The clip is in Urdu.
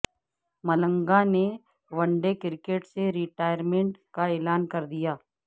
ملنگا نے ون ڈے کرکٹ سے ریٹائرمنٹ کا اعلان کردیا